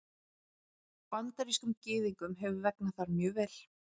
Bandarískum Gyðingum hefur vegnað þar mjög vel.